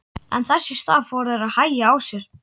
En þess í stað fóru þeir að hægja á sér.